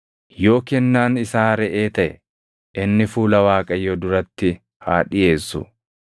“ ‘Yoo kennaan isaa reʼee taʼe, inni fuula Waaqayyoo duratti haa dhiʼeessu.